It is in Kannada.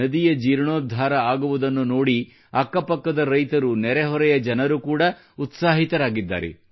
ನದಿಯ ಜೀರ್ಣೋದ್ಧಾರ ಆಗುವುದನ್ನು ನೋಡಿ ಅಕ್ಕಪಕ್ಕದ ರೈತರು ನೆರೆಹೊರೆಯ ಜನರು ಕೂಡ ಉತ್ಸಾಹಿತರಾಗಿದ್ದಾರೆ